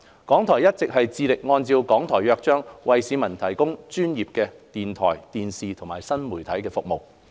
港台一直致力按照《港台約章》為市民提供專業的電台、電視及新媒體服務。